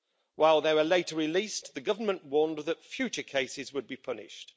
While they were later released, the government warned that future cases would be punished.